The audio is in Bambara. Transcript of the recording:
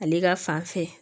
Ale ka fan fɛ